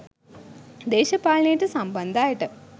දේශපාලනයට සම්බන්ධ අයට